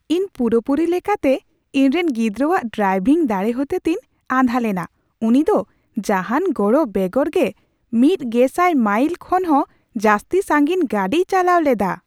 ᱤᱧ ᱯᱩᱨᱟᱹᱯᱩᱨᱤ ᱞᱮᱠᱟᱛᱮ ᱤᱧᱨᱮᱱ ᱜᱤᱫᱽᱨᱟᱹᱣᱟᱜ ᱰᱨᱟᱭᱵᱷᱤᱝ ᱫᱟᱲᱮ ᱦᱚᱛᱮᱛᱮᱧ ᱟᱸᱫᱷᱟ ᱞᱮᱱᱟ ᱾ ᱩᱱᱤ ᱫᱚ ᱡᱟᱦᱟᱱ ᱜᱚᱲᱚ ᱵᱮᱜᱚᱨ ᱜᱮ ᱑᱐᱐᱐ ᱢᱟᱭᱤᱞ ᱠᱷᱚᱱᱦᱚᱸ ᱡᱟᱹᱥᱛᱤ ᱥᱟᱺᱜᱤᱧ ᱜᱟᱹᱰᱤᱭ ᱪᱟᱞᱟᱣ ᱞᱮᱫᱟ ᱾